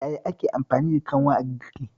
Yaya ake amfani da kanwa a girki?